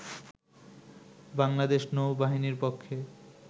বাংলাদেশ নৌ বাহিনীর পক্ষে